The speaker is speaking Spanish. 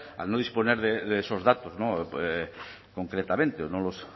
al no disponer de esos datos concretamente no los